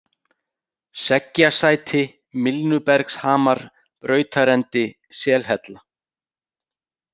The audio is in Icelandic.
Seggjasæti, Milnubergshamar, Brautarendi, Selhella